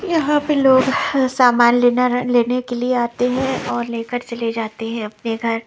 यहाँ पे लोग सामान लेना लेने के लिए आते हैं और लेकर चले जाते हैं अपने घर --